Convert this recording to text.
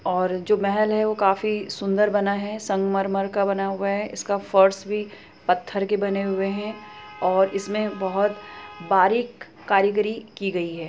और जो महल है वो काफी सुन्दर बना हैं संगमरमर का बना हुआ हैं फर्स भी पत्थर के बने हुए हैं और इसमे बहुत बारीक कारिगीरी की गई हैं |